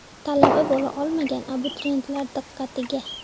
Talaba bo‘la olmagan abituriyentlar diqqatiga!.